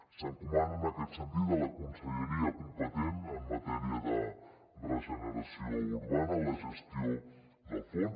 s’encomana en aquest sentit a la conselleria competent en matèria de regeneració urbana la gestió del fons